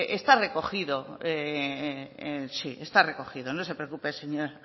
está recogido sí está recogido no se preocupe señora